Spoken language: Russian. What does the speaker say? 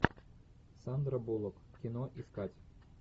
сандра буллок кино искать